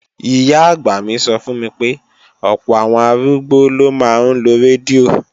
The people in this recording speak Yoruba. Ìyá-àgbà mi sọ fún mi pé, ọ̀pọ̀ àwọn arúgbó ló máa ń lo rédíò